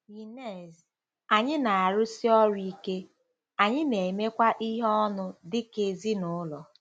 Ynez: Anyị na-arụsi ọrụ ike, anyị na-emekwa ihe ọnụ dị ka ezinụlọ.